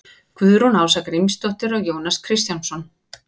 guðrún ása grímsdóttir og jónas kristjánsson